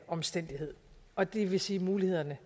omstændighed og det vil sige at mulighederne